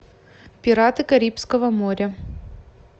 пираты карибского моря